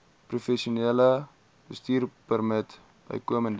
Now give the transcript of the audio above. professionele bestuurpermit bykomend